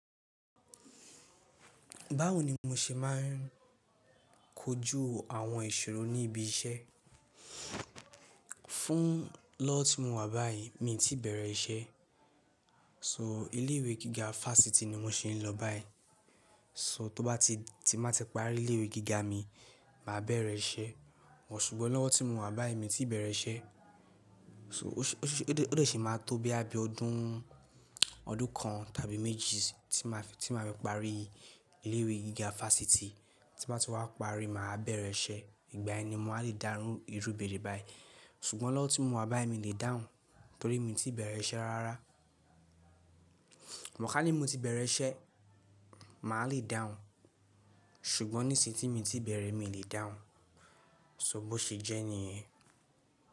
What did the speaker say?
Báwo ni mo ṣe máa ń kọjú àwọn ìṣòro ní ibi iṣẹ́? Fún lọ́wọ́ tí mo wà báyìí mi ò tí bẹ̀rẹ̀ iṣẹ́, so ilé ìwé gíga fáfitì ni mo ṣe ń lọ báyìí. So tó bá ti, tí màá ti parí ilé ìwé gíga mi, màá bẹ̀rẹ̀ iṣẹ́. But ṣùgbọ́n lọ́wọ́ tí mo wà báyìí mi ò tí bẹ̀rẹ̀ iṣẹ́. So ó dẹ̀ ṣì máa tó bí i bí ọdún, ọdún kan tàbí méjì tí màá fi, tí màá fi parí ilé ìwé gíga fáfitì tí màá ti wá parí, màá bẹ̀rẹ̀ iṣẹ́, ìgbà yen ni mo wáá lè dáún ìrú ìbéèrè báyìí. Ṣùgbọ́n lọ́wọ́ tí mo wà báyìí mi lè dáhùn torí mi ò tí bẹ̀rẹ̀ iṣẹ́ rárá. Mọ̀ ká ní mo ti bẹ̀rẹ̀ iṣẹ́, màá lè dáhùn, ṣùgbọ́n nísìí tí mi ò tí bẹ̀rẹ̀ mi lè dáhùn. So bó ṣe jẹ́ ní?